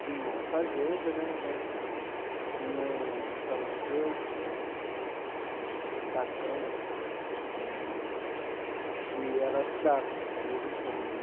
Tinha a fazenda né, mas tinha o o farmacêutico, acho que Tatão, se eu não me engano, e ela ajudava de vez em quando.